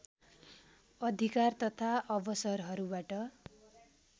अधिकार तथा अवसरहरूबाट